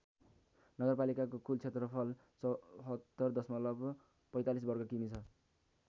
नगरपालिकाको कुल क्षेत्रफल ७४ दशमलव ४५ वर्ग किमि छ।